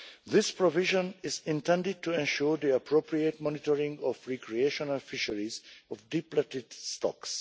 This provision is intended to ensure the appropriate monitoring of recreational fisheries of depleted stocks.